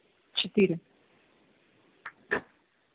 четыри